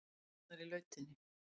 Konurnar í lautinni.